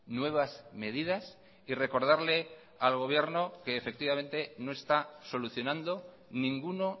nuevas medidas y recordarle al gobierno que efectivamente no está solucionando ninguno